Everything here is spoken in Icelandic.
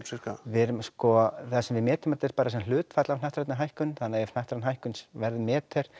við erum sko það sem við metum er bara sem hlutfall af hnattrænni hækkun þannig að ef hnattræn hækkun verður metri